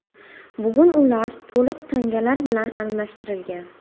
Bugun ular to‘liq tangalar bilan almashtirilgan.